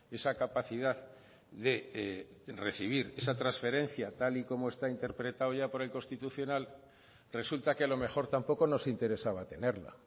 esa capacidad de recibir esa transferencia tal y como está interpretado ya por el constitucional resulta que a lo mejor tampoco nos interesaba tenerla